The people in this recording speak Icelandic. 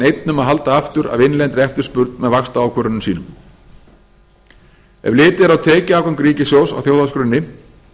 að halda aftur af innlendri eftirspurn með vaxtaákvörðunum sínum ef litið er á tekjuafgang ríkissjóðs á þjóðhagsgrunni